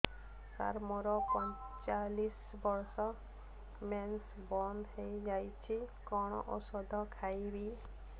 ସାର ମୋର ପଞ୍ଚଚାଳିଶି ବର୍ଷ ମେନ୍ସେସ ବନ୍ଦ ହେଇଯାଇଛି କଣ ଓଷଦ ଖାଇବି